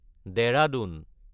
Dehradun